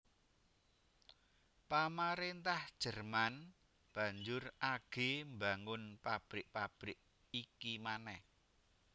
Pamaréntah Jerman banjur agé mbangun pabrik pabrik iki manèh